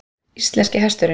Íslenski hesturinn